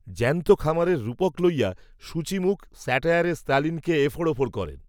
জ্যন্ত খামারের রূপক লইয়া সূচিমুখ স্যাটায়ারে, স্তালিনকে, এফোঁড়, ওফোঁড় করেন